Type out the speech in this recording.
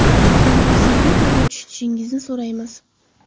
Sizdan vaziyatni to‘g‘ri tushunishingizni so‘raymiz.